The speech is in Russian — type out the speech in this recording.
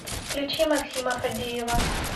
включи максима фадеева